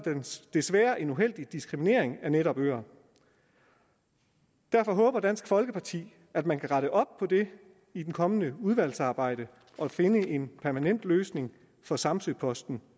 desværre en uheldig diskriminering af netop øer derfor håber dansk folkeparti at man kan rette op på det i det kommende udvalgsarbejde og finde en permanent løsning for samsø posten